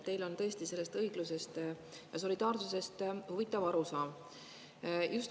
Teil on tõesti õiglusest ja solidaarsusest huvitav arusaam.